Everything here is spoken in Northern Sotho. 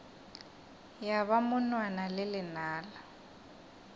ya ba monwana le lenala